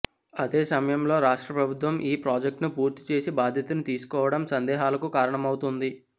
అదే సమయంలో రాష్ట్ర ఫ్రభుత్వం ఈ ప్రాజెక్టును పూర్తి చేసే బాధ్యతను తీసుకోవడం సందేహాలకు కారణమవుతోంది